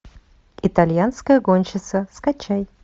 итальянская гонщица скачай